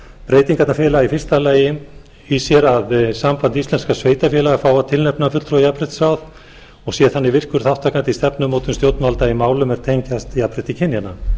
breytingarnar felast í fyrsta lagi í því að samband íslenskra sveitarfélaga fái að tilnefna fulltrúa í jafnréttisráð og sé þannig virkur þátttakandi í stefnumótun stjórnvalda í málum er tengjast jafnrétti kynjanna